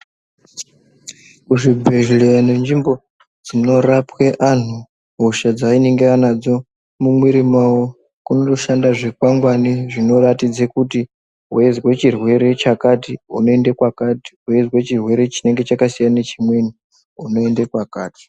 Muzvibhedhleya ngenzvimbo dzinorapwe antu hosha dzayinenge anadzo mumwiri mawo, kunoshanda zvikwangwani zvinoratidze kuti weinzve chirwere chakati, unoyinde kwakati, weizve chirwere chinenge chakasiyana nechimweni unoyende kwakati.